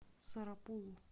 сарапулу